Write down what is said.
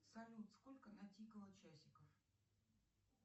салют сколько натикало часиков